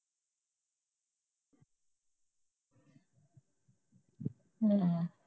ਨਹੀਂ